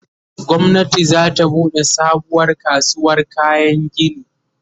gwamnati zata buɗe sabuwar kasuwar kayan gini